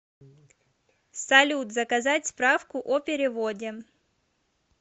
салют заказать справку о переводе